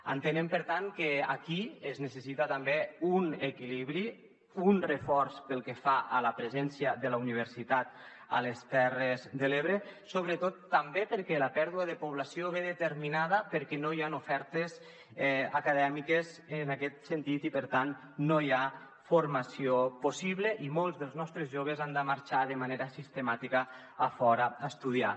entenem per tant que aquí es necessita també un equilibri un reforç pel que fa a la presència de la universitat a les terres de l’ebre sobretot també perquè la pèrdua de població ve determinada perquè no hi han ofertes acadèmiques en aquest sentit i per tant no hi ha formació possible i molts dels nostres joves han de marxar de manera sistemàtica a fora a estudiar